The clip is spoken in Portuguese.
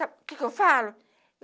Sabe o que que eu falo?